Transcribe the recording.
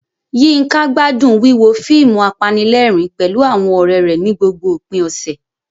Yinka gbádùn wíwo fíìmù apanilẹ́rìn-ín pẹ̀lú àwọn ọ̀rẹ́ rẹ̀ ní gbogbo òpin ọ̀sẹ̀.